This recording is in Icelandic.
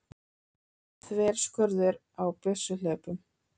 Þverskurður á byssuhlaupum.